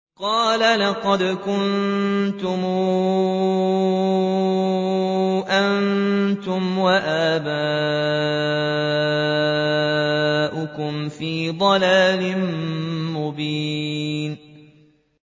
قَالَ لَقَدْ كُنتُمْ أَنتُمْ وَآبَاؤُكُمْ فِي ضَلَالٍ مُّبِينٍ